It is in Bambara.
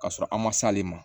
Ka sɔrɔ an man s'ale ma